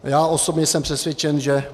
Já osobně jsem přesvědčen, že